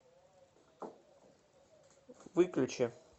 выключи